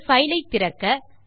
ஒரு பைல் ஐ திறக்க